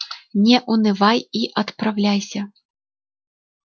не унывай и отправляйся